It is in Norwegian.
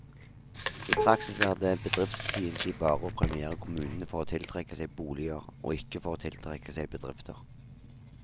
I praksis er det bedriftsfiendtlig bare å premiere kommunene for å tiltrekke seg boliger, og ikke for å tiltrekke seg bedrifter.